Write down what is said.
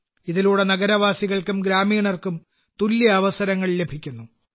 ഇതിലൂടെ നഗരവാസികൾക്കും ഗ്രാമീണർക്കും തുല്യ അവസരങ്ങൾ ലഭിക്കുന്നു